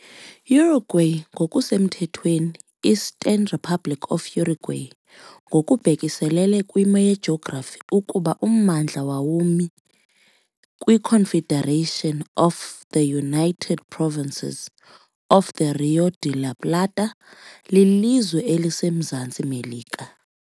Uruguay ngokusemthethweni Eastern Republic of Uruguay, ngokubhekiselele kwimo yejografi ukuba ummandla wawumi kwi-Confederation of the United Provinces of the Rio de la Plata, lilizwe eliseMzantsi Melika.